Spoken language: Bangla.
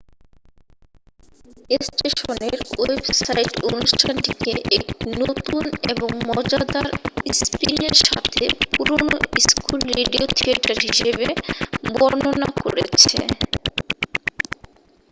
"স্টেশনের ওয়েবসাইট অনুষ্ঠানটিকে "একটি নতুন এবং মজাদার স্পিনের সাথে পুরানো স্কুল রেডিও থিয়েটার" হিসাবে বর্ণনা করেছে!